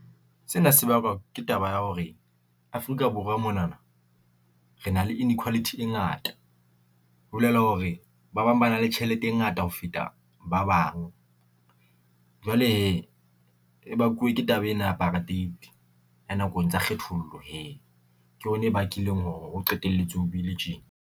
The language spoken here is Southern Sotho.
Sena se bakwa ke taba ya hore Afrika Borwa mona na re na le inequality e ngata, ho bolela hore ba bang ba na le tjhelete e ngata ho feta ba bang. Jwale he e bakuwe ke taba ena ya apartheid ya nakong tsa kgethollo he ke yona e bakileng hore o qetelletse ho bile tjena.